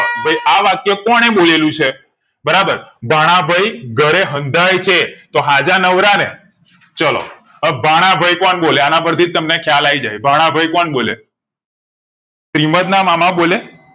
કે ભઈ આ વાક્ય કોણે બોલેલું છે બરાબર ભાણાભઈ ઘરે હંધાય છે તો હાજા નવરા ને ચાલો અ ભાણાભઈ કોણ બોલે આના પરથી જ તમને ખ્યાલ આઈ જશે ભાણાભઈ કોણ બોલે શ્રિમંત ના મામા બોલે